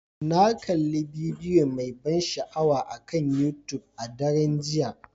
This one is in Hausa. Na kalli bidiyo mai ban sha'awa akan YouTube a daren jiya.